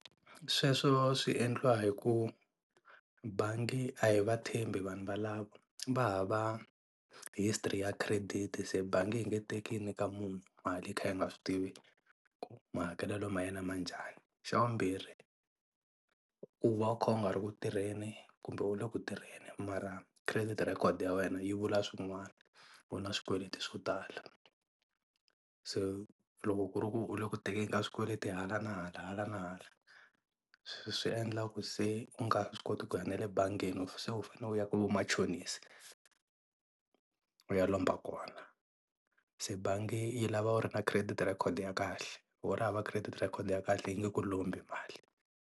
Sweswo swi endliwa hi ku bangi a hi va tshembi vanhu valava va hava history ya credit se bangi yi nge teki yi nyika munhu mali yi kha yi nga swi tivi ku mahakelelo ma yena ma njhani, xa vumbirhi u va u kha u nga ri ku tirheni kumbe u le ku tirheni mara credit record ya wena yi vula swin'wana u na swikweleti swo tala, se loko ku ri ku u le ku tekeni ka swikweleti hala na hala hala na hala, swi endla ku se u nga swi koti ku ya na le bangeni se u fane u ya ka vamachonisi u ya lomba kona se bangi yi lava u ri na credit record ya kahle loko u ri hava credit record ya kahle yi nge ku lombi mali.